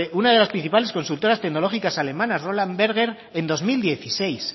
una de las principales consultoras tecnológicas alemanas roland berger en dos mil dieciséis